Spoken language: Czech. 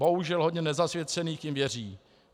Bohužel hodně nezasvěcených jim věří.